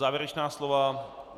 Závěrečná slova?